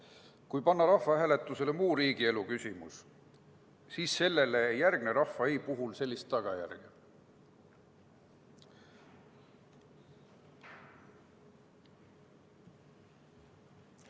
Kui aga panna rahvahääletusele muu riigielu küsimus, siis sellele ei järgne rahva "ei" puhul sellist tagajärge.